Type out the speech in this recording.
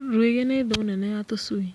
Rũĩgĩ nĩ thũũ nene ya tũcui.